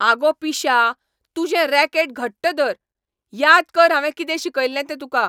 आगो पिश्या. तुजें रॅकेट घट्ट धर. याद कर हांवें कितें शिकयल्लें तें तुका.